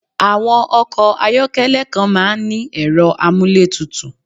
Awọ́n Ọkọ̀ ayọ́kẹ́lẹ̀ kan máà ń ní ẹ̀rọ amúlétutù